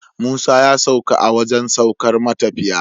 Musa ya sauka a wajan saukar matafiya